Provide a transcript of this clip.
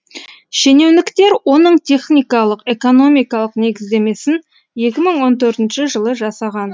шенеуніктер оның техникалық экономикалық негіздемесін екі мың он төртінші жылы жасаған